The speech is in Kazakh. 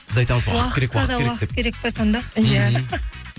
біз айтамыз уақыт керек па сонда иә